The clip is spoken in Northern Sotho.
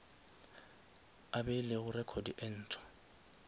a beilego record e ntshwa